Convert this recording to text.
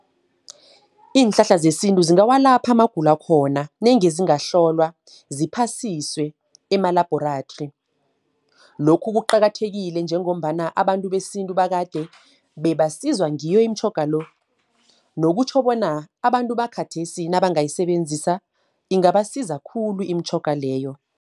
Iinhlahla zesintu zingawalapha amagulo akhona, nange zingahlolwa, ziphasiswe emalabhorathri. Lokhu kuqakathekile njengombana abantu besintu bakade, bebaziswa ngiyo imitjhoga lo. Nokukhutjho bona, abantu bakhathesi nabangayisebenzisa ingabasiza khulu imitjhoga leyo.